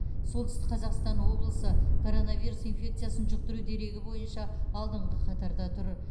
солтүстік қазақстан облысы короновирус инфекциясын жұқтыру дерегі бойынша алдыңғы қатарда тұр